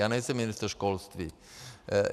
Já nejsem ministr školství.